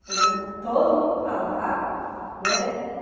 Então vamos todo mundo para lá, né?